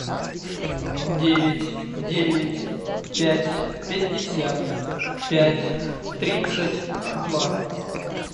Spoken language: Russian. девять девять пять пятьдесят пять тридцать два